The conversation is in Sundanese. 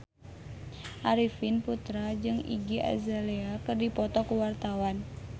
Arifin Putra jeung Iggy Azalea keur dipoto ku wartawan